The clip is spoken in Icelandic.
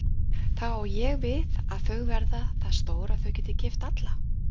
Þá á ég við að þau verða það stór að þau geti keypt alla?